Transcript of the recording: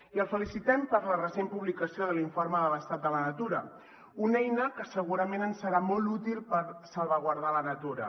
i el felicitem per la recent publicació de l’informe sobre l’estat de la natura una eina que segurament ens serà molt útil per salvaguardar la natura